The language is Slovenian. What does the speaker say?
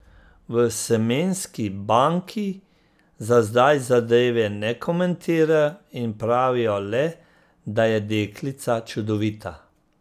V semenski banki za zdaj zadeve ne komentirajo in pravijo le, da je deklica čudovita.